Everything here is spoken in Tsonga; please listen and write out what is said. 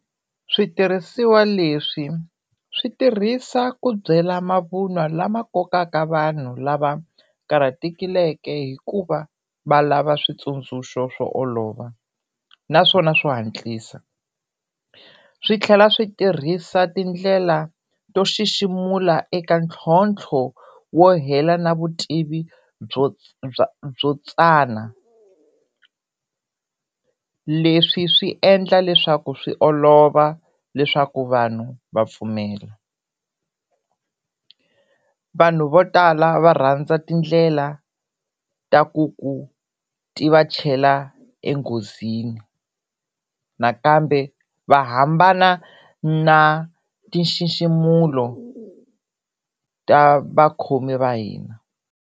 Switirhisiwa leswi swi tirhisa ku byela mavun'wa lama kokaka vanhu lava vakarhatekile hikuva va lava switsundzuxo swo olova naswona swo hatlisa, swi tlhela swi tirhisa tindlela to xiximula eka ntlhontlho wo hela na vutivi byo bya byo tsana. Leswi swi endla leswaku swi olova leswaku vanhu va pfumela. Vanhu vo tala va rhandza tindlela ta ku ku ti va chela enghozini nakambe va hambana na ti nxiximulo ta vakhomi va hina.